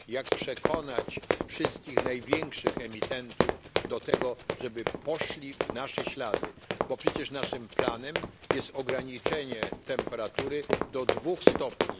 Jak przekonać wszystkich największych emitentów do tego, żeby poszli w nasze ślady, bo przecież naszym planem jest ograniczenie temperatury do 2 stopni.